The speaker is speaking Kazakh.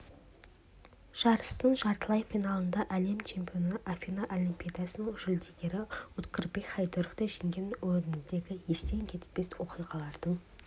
жарыстың жартылай финалында әлем чемпионы афина олимпиадасының жүлдегері уткирбек хайдаровты жеңгенім өмірімдегі естен кетпес оқиғалардың